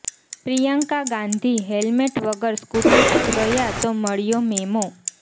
Priyanka Gandhi helmet વગર scooty પર ગયા તો મળ્યો મેમો